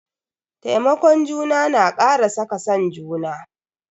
Taimakon juna na kara saka san juna.